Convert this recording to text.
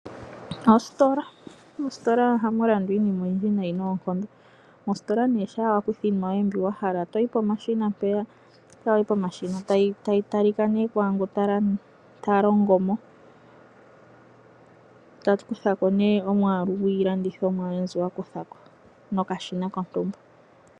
Ositola Mositola ohamu landwa iinima oyindji noonkondo. Uuna wa kutha iinima yoye mbyoka wa hala mositola oho yi pomashina mpoka hayi talika kungoka ta longo mo, ta kutha ko ongushu yiilandomwa yoye ta longitha okashina kontumba.